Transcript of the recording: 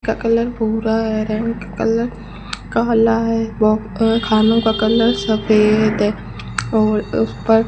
का कलर भूरा है रेन का कलर कला है वह खानो का कलर सफेद है और उसपर --